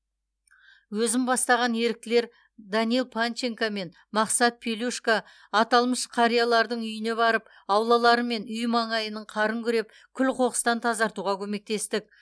өзім бастаған еріктілер данил панченко мен мақсат пелюшко аталмыш қариялардың үйіне барып аулалары мен үй маңайының қарын күреп күл қоқыстан тазартуға көмектестік